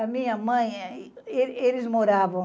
A minha mãe, eh, eles moravam.